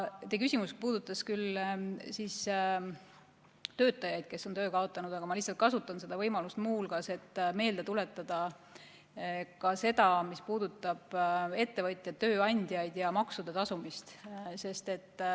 Teie küsimus puudutas küll töötajaid, kes on töö kaotanud, aga ma kasutan võimalust muu hulgas meelde tuletada ka seda, mis puudutab ettevõtjaid, tööandjaid ja maksude tasumist.